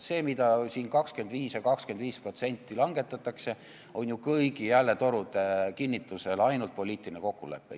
See 25% ja 25% langetamine on ju kõigi hääletorude kinnitusel lihtsalt poliitiline kokkulepe.